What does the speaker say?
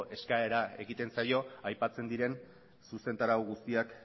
eskaera egiten zaio aipatzen diren zuzentarau guztiak